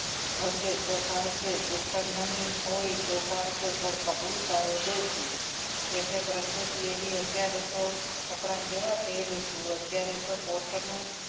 હશે તો ચાલશે શ્રીખંડ નહીં હોય તો ચાલશે પણ કપડું સારું જોશે એટલે પ્રકૃતિ એવી અત્યારે તો કપડા કેવા પહેરું છું અત્યારે તો કોટનનું